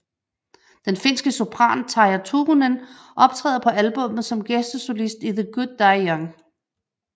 Den finske sopran Tarja Turunen optræder på albummet som gæstesolist i The Good Die Young